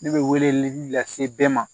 Ne bɛ weleli lase bɛɛ ma